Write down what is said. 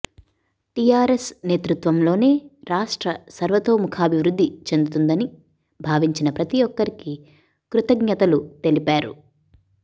TRS నేతృత్వంలోనే రాష్ట్ర సర్వతోముఖాభివృద్ధి చెందుతుందని భావించిన ప్రతీ ఒక్కరికీ కృతజ్ఞతలు తెలిపారు